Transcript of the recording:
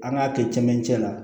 An k'a kɛ cɛmancɛ la